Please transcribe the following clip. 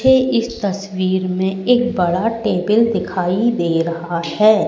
इस तस्वीर में एक बड़ा टेबल दिखाई दे रहा है।